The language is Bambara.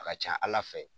A ka ca ala fɛ